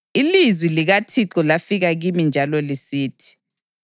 Ilizwi likaThixo lafika kimi njalo lisithi: